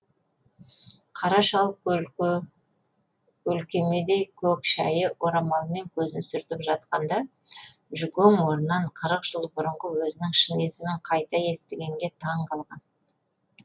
қара шал көлкемедей көк шәйі орамалымен көзін сүртіп жатқанда жүкең осыдан қырық жыл бұрынғы өзінің шын есімін қайта естігенге таң қалған